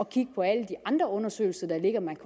kigge på alle de andre undersøgelser der ligger man